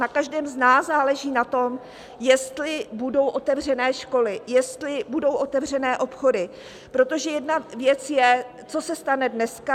Na každém z nás záleží na tom, jestli budou otevřené školy, jestli budou otevřené obchody, protože jedna věc je, co se stane dneska.